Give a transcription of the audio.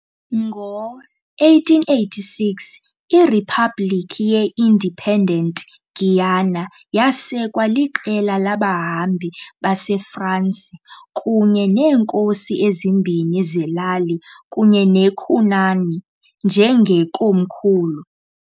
Ngo-1886, iRiphabhlikhi ye-Independent Guiana yasekwa liqela labahambi baseFransi kunye neenkosi ezimbini zelali kunye neCunani njengekomkhulu.